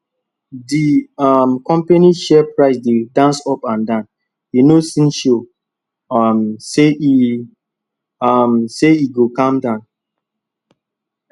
di um company share price dey dance up and down e no still show um say e um say e go calm down